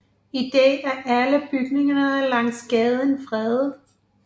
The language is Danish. I dag er alle bygninger langs gaden fredet